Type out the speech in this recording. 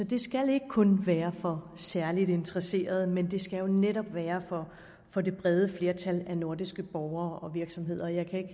det skal ikke kun være for særligt interesserede men det skal jo netop være for det brede flertal af nordiske borgere og virksomheder og jeg kan